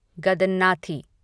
गदननाथी